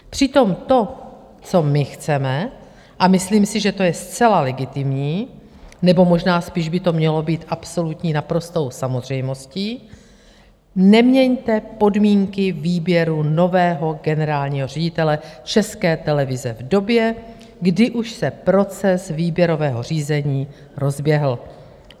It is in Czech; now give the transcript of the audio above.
Přitom to, co my chceme, a myslím si, že to je zcela legitimní, nebo možná spíš by to mělo být absolutní naprostou samozřejmostí, neměňte podmínky výběru nového generálního ředitele České televize v době, kdy už se proces výběrového řízení rozběhl.